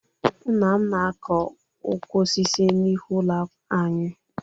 Nna m na-akọ ukwu osisi n'ihu ụlọ anyị